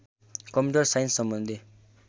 computer साइन्ससम्बन्धी